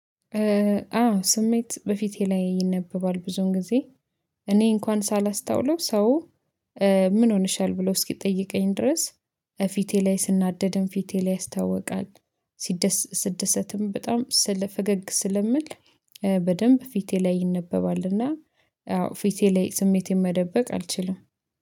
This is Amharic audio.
አዎ ስሜት በፊቴ ላይ ይነበባል ብዙም ጊዜ። እኔ እንኳን ሳላስታውለው ሰው ምን ሆነሻል ብሎ እስኪጠይቀኝ ድረስ። ፊቴ ላይ ስናደድም ፊቴ ላይ ያስታውቃል። ስደሰትም በጣም ስለ ፈገግ ስለምል በደንብ ፊቴ ላይ ይነበባልና። አዎ ፊቴ ላይ ስሜቴን መደበቅ አልችልም